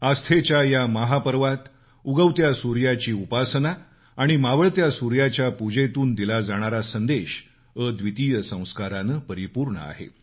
आस्थेच्या या महापर्वात उगवत्या सूर्याची उपासना आणि मावळत्या सूर्याच्या पूजेतून दिला जाणारा संदेश अद्वितीय संस्कारांनं परिपूर्ण आहे